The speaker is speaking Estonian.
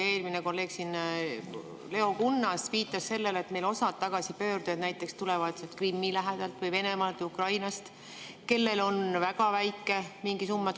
Kolleeg Leo Kunnas viitas sellele, et osa tagasipöördujaid tuleb näiteks Krimmi lähedalt või Venemaalt ja Ukrainast ning neil on mingi väga väike summa.